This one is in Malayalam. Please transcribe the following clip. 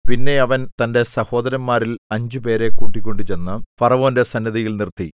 പിന്നെ അവൻ തന്റെ സഹോദരന്മാരിൽ അഞ്ചുപേരെ കൂട്ടിക്കൊണ്ടുചെന്നു ഫറവോന്റെ സന്നിധിയിൽ നിർത്തി